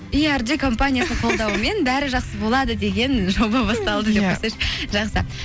компаниясының қолдауымен бәрі жақсы болады деген жоба басталды деп қойсайшы жақсы